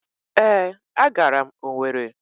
ee, agara m Owere.